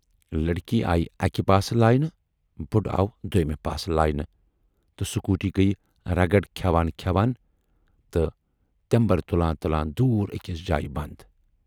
لڑکی آیہِ اکہِ پاسہٕ لاینہٕ، بُڈٕ آو دویمہِ پاسہٕ لاینہٕ تہٕ سکوٗٹی گٔیہِ رگڑ کھٮ۪وان کھٮ۪وان تہٕ تٮ۪مبرِ تُلان تُلان دوٗر ٲکِس جایہِ بند۔